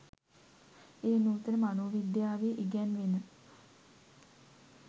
එය නූතන මනෝවිද්‍යාවේ ඉගැන්වෙන